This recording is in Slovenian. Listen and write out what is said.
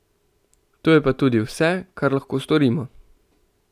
To je pa tudi vse, kar lahko storimo.